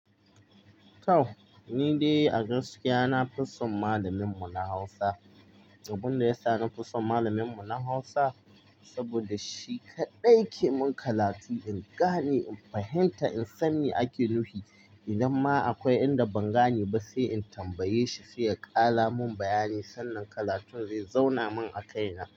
To, ni dai a gaskiya nafi son malamin mu na Hausa. Abin da ya sa nafi son malamin mu na Hausa, saboda shi kaɗai yake mun karatu in gane, in fahimta, in san me ake nufi. Idan ma akwai inda ban gane ba sai in tambaye shi sai ya kara mun bayani sannan karatun zai zauna min a kai na.